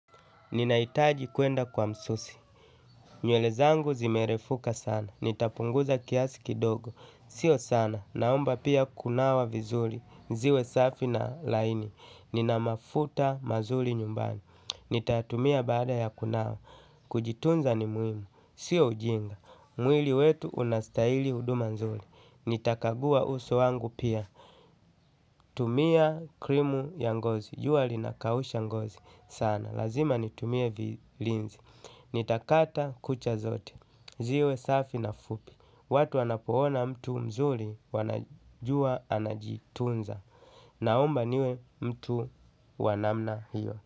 Ninahitaji kuenda kwa msusi. Nywele zangu zimerefuka sana. Nitapunguza kiasi kidogo. Sio sana naomba pia kunawa vizuri. Ziwe safi na laini. Nina mafuta mazuri nyumbani. Nitatumia baada ya kunawa. Kujitunza ni muhimu. Sio ujinga. Mwili wetu unastahili huduma nzuri. Nitakagua uso wangu pia. Tumia krimu ya ngozi. Jua linakausha ngozi. Sana lazima nitumie vilinzi. Nitakata kucha zote. Ziwe safi na fupi. Watu wanapoona mtu mzuri wanajua anajitunza. Naomba niwe mtu wa namna hiyo.